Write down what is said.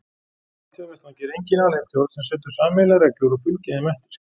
Á alþjóðavettvangi er engin alheimsstjórn sem setur sameiginlegar reglur og fylgir þeim eftir.